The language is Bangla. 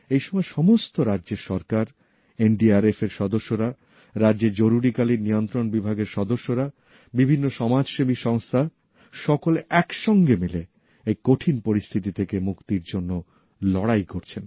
এই সময় সমস্ত রাজ্যের সরকার এনডিআরএফ এর সদস্যরা রাজ্যের আপতকালীন নিয়ন্ত্রণ বিভাগের সদস্যরা বিভিন্ন সমাজসেবী সংস্থা সকলে একসঙ্গে মিলে এই কঠিন পরিস্থিতি থেকে মুক্তির জন্য লড়াই করছেন